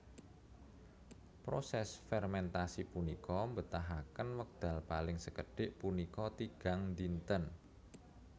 Proses fermentasi punika mbetahaken wekdal paling sekedhik punika tigang dinten